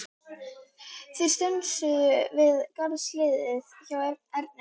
Þeir stönsuðu við garðshliðið hjá Erni.